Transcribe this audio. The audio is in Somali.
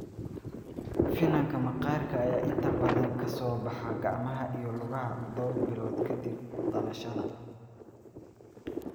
Finanka maqaarka ayaa inta badan ka soo baxa gacmaha iyo lugaha dhowr bilood ka dib dhalashada.